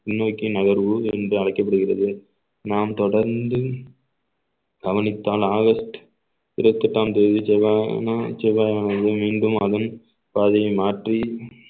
பின்னோக்கி நகர்வு என்று அழைக்கப்படுகிறது நாம் தொடர்ந்து கவனித்தால் ஆகஸ்ட் இருபத்தி எட்டாம் தேதி மீண்டும் மாதம் பாதையை மாற்றி